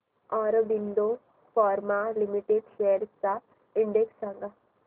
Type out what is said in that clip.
Aurobindo pharma limited shares चा index सांगा